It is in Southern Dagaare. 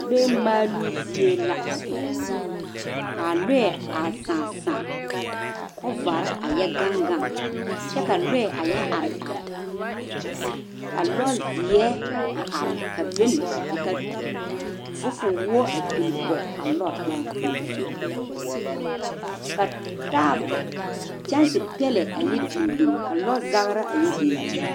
lɔɛɛ maaloo zie la ka lɔɛ a saã saã ka kɔbare a yɔ gang gang kyɛ ka lɔɛ a yɔ are are ka lɔzeɛ a are ka bon ka fofowoɔ a pilli pɔge a lɔre ka taa kyɛngse pɛllɛ a yɔ bin ka kɔzagra a yɔ bin bin